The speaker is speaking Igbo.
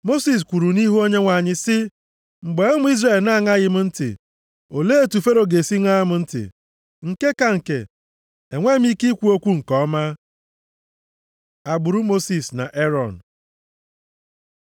Mosis kwuru nʼihu Onyenwe anyị sị, “Mgbe ụmụ Izrel na-aṅaghị m ntị, olee otu Fero ga-esi ṅaa m ntị? Nke ka nke, enweghị m ike ikwu okwu nke ọma.” Agbụrụ Mosis na Erọn